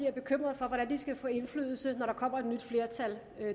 er bekymret for hvordan de skal få indflydelse når der kommer et nyt flertal